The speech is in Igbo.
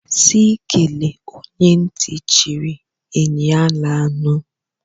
Si kele onye nti chiri, eny ala anu.